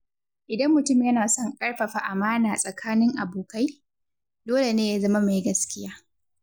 Idan mutum yana son a ƙarfafa amãna tsakanin abokai, dole ne ya zama mai gaskiya.